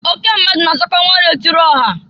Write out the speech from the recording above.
Oke mmadụ na azakwa ọnwa na-etiri ọha.